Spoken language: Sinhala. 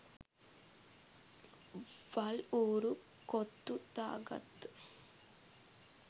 වල් ඌරු කොත්තු දාගත්ත